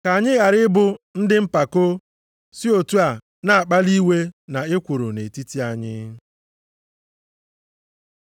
Ka anyị ghara ịbụ ndị mpako si otu a na-akpali iwe na ekworo nʼetiti anyị.